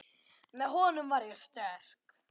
Með honum var ég sterk.